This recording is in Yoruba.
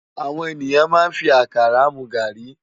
Áwòn éniyán má n fi àkárá mú gári